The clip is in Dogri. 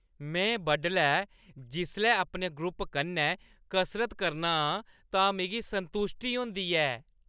में बडलै जिसलै अपने ग्रुप कन्नै कसरत करना आं तां मिगी संतुश्टी होंदाी ऐ।